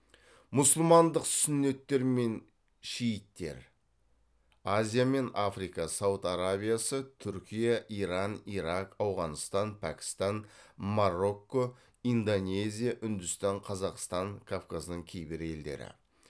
мұсылмандық сүннеттер мен шииттер